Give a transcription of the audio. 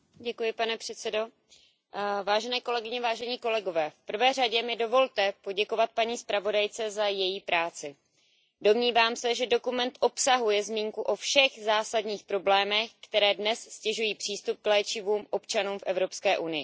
Pane předsedající, v prvé řadě mi dovolte poděkovat paní zpravodajce za její práci. Domnívám se, že dokument obsahuje zmínku o všech zásadních problémech, které dnes ztěžují přístup k léčivům občanům v Evropské unii.